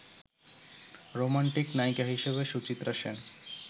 romantic নায়িকা হিসেবে সুচিত্রা সেন